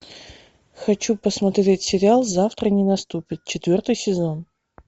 хочу посмотреть сериал завтра не наступит четвертый сезон